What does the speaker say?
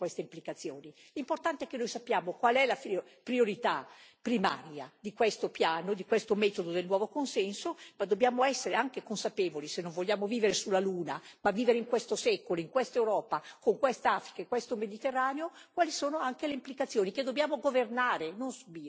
L'importante è che noi sappiamo qual è la priorità primaria di questo piano, di questo metodo del nuovo consenso, ma dobbiamo essere anche consapevoli, se non vogliamo vivere sulla Luna, ma vivere in questo secolo, in questa Europa con questa Africa e questo Mediterraneo, di quali sono anche le implicazioni, che dobbiamo governare e non subire. Governare mettendo i diritti umani e lo sviluppo delle popolazioni al primo punto.